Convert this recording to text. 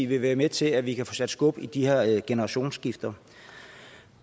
vil være med til at vi kan få sat skub i de her generationsskifter